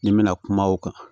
Ni n bɛna kuma o kan